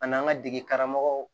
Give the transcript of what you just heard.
An'an ka dege karamɔgɔw